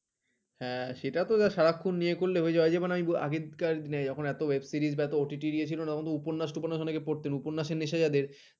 হা সেটা তো দেয় সারাক্ষণ ইয়ে করলে হয়ে যায় ওই যেমন আগেকার এত Webseries এত OTT ইয়ে ছিল না তখন উপন্যাস উপন্যাস টপন্যাস অনেকে পড়তেন উপন্যাসের নেশা যাদের